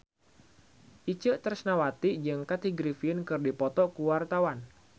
Itje Tresnawati jeung Kathy Griffin keur dipoto ku wartawan